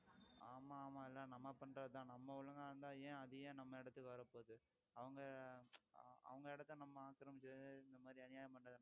ஆமா ஆமா இல்ல நம்ம பண்றதுதான் நம்ம ஒழுங்கா இருந்தா ஏன் அது ஏன் நம்ம இடத்துக்கு வரப்போகுது அவங்க அவங்க இடத்தை நம்ம ஆக்கிரமிச்சு இந்த மாதிரி அநியாயம் பண்றதுனாலதான்